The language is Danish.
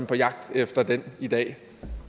på jagt efter den i dag